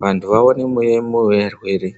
vanhu vauye veiona varwere.